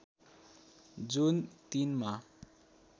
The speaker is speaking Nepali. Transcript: जुन ३ मा